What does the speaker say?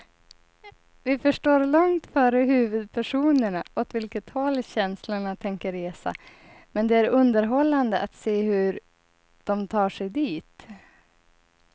Vi förstår långt före huvudpersonerna åt vilket håll känslorna tänker resa, men det är underhållande att se hur de tar sig dit.